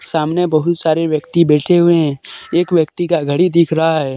सामने बहुत सारे व्यक्ति बैठे हुए हैं एक व्यक्ति का घड़ी दिख रहा है।